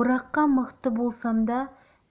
ораққа мықты болсам да